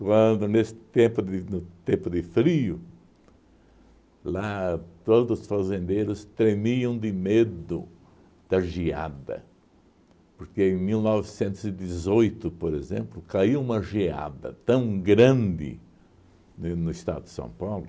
Quando, nesse tempo de no tempo de frio, lá todos os fazendeiros tremiam de medo da geada, porque em mil novecentos e dezoito, por exemplo, caia uma geada tão grande ne no estado de São Paulo